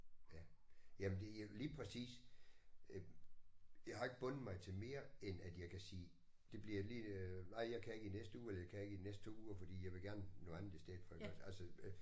Ja. Jamen det er lige præcis. Øh jeg har ikke bundet mig til mere end at jeg kan sige det bliver lige øh ej jeg kan ikke i næste uge eller jeg kan ikke i de næste 2 uger fordi jeg vil gerne noget andet i stedet for iggås altså øh